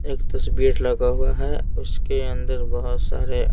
एक तस्वीर लगा हुआ है उसके अंदर बहुत सारे--